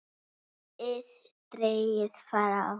ið dregið frá.